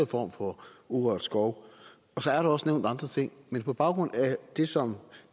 form for urørt skov så er der også nævnt andre ting men på baggrund af det som